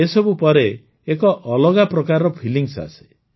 ଏସବୁ ପରେ ଏକ ଅଲଗା ପ୍ରକାରର ଫିଲିଂସ୍ ଆସେ